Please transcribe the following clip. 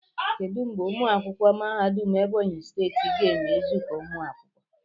Kedu mgbe ụmụ akwụkwọ mahadum Ebonyi steeti ga-eme izuka umu akwukwo?